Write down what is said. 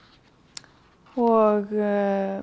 og